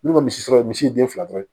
N'u ye misi sɔrɔ misi den fila dɔrɔn ye